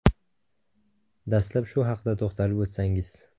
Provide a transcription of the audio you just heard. Dastlab shu haqda to‘xtalib o‘tsangiz.